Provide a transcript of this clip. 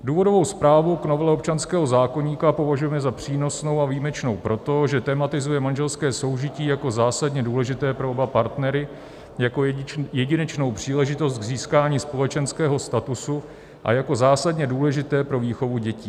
Důvodovou zprávu k novele občanského zákoníku považujeme za přínosnou a výjimečnou proto, že tematizuje manželské soužití jako zásadně důležité pro oba partnery, jako jedinečnou příležitost k získání společenského statusu a jako zásadně důležité pro výchovu dětí.